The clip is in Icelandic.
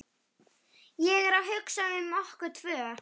Ég er að hugsa um okkur tvö.